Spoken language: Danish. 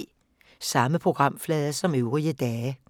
Samme programflade som øvrige dage